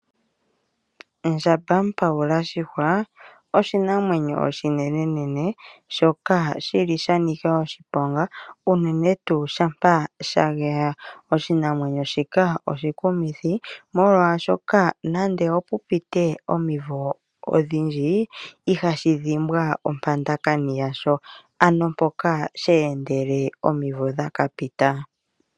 Ndjambamupawulashihwa oshinamwenyo oshinenene shoka sha nika oshiponga unene tuu shampa sha geya. Oshinamwenyo shika oshikumithi, molwashoka nando opu pite omivo odhindji ihashi dhimbwa ompandakani yasho, ano mpoka she endele omivo dha ka pita.